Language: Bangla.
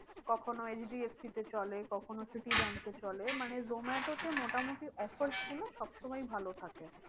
কখনো HDFC তে চলে কখনো city bank এ চলে। মানে জোমাটোতে মোটামুটি offers গুলো সব সময় ভালো থাকে।